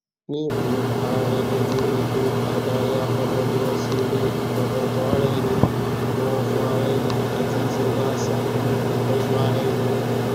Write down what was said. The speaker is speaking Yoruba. ni um aarin gbungbun eto adariafomoniyanse ni ifokantanaraeni ibowofunraeni ati iseda asa um itojuaraeni